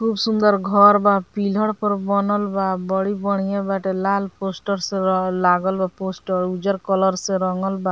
खुब सुंदर घर बा पिलर पर बनल बा बड़ी बढ़िया बाटे लाल पोस्टर से लागल बा पोस्टर उजर कलर से रंगल बा।